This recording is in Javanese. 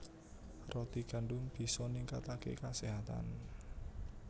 Roti gandum bisa ningkataké kaséhatan